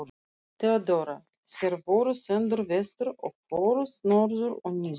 THEODÓRA: Þér voruð sendur vestur og fóruð norður og niður!